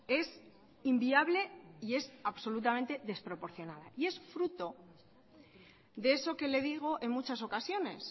es inviable y es absolutamente desproporcionada es fruto de eso que le digo en muchas ocasiones